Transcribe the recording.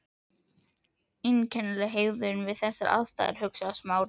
Einkennileg hegðun við þessar aðstæður, hugsaði Smári.